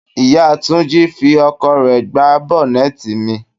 Ìyá Túnjí fí ọkọ̀ rẹ gbá bọ́nẹ́tì mi.